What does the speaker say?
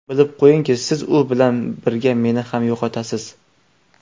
Bilib qo‘yingki, siz u bilan birga meni ham yo‘qotasiz.